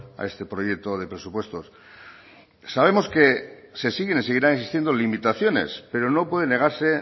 a este proyecto de presupuestos sabemos que se siguen y seguirán existiendo limitaciones pero no puede negarse